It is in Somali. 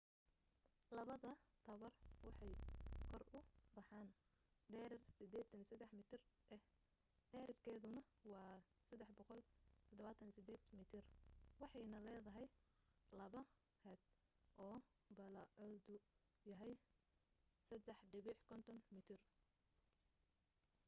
labada taawar waxay kor u baxeen dherer 83 mitir ah dhererkeeduna waa 378 mitir waxayna leedahay laba haad oo ballacoodu yahay 3.50 mitir